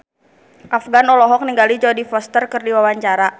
Afgan olohok ningali Jodie Foster keur diwawancara